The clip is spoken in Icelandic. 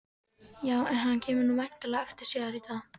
Já, en hann kemur nú væntanlega aftur síðar í dag.